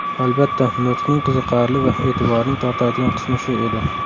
Albatta, nutqning qiziqarli va e’tiborning tortadigan qismi shu edi.